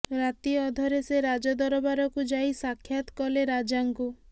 ରାତି ଅଧରେ ସେ ରାଜଦରବାରକୁ ଯାଇ ସାକ୍ଷାତ୍ କଲେ ରାଜାଙ୍କୁ